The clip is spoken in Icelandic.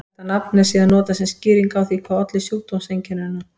Þetta nafn er síðan notað sem skýring á því hvað olli sjúkdómseinkennunum.